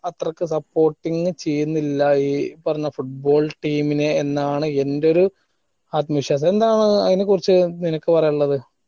അത്രക്ക് supporting ചെയ്യിന്നില്ല ഈ ഏർ പറഞ്ഞ football team നെ എന്നാണ് എന്റെ ഒരു ആത്മവിശ്വാസം എന്താണ് അയിനെക്കുറിച്ച് നിനക്ക് പറയാള്ളത്